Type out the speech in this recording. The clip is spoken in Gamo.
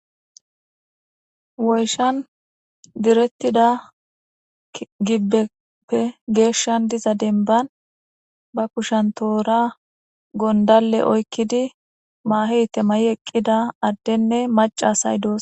Woyshan direttida gibbepe geeshshan diza denban ba kushan toora gondale oykkidi maaheyte may,i eqqida addenne macasay doos.